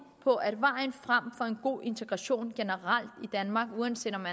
på at vejen frem for en god integration generelt i danmark uanset om